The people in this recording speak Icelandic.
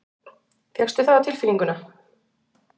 Fékkstu það á tilfinninguna?